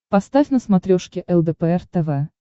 поставь на смотрешке лдпр тв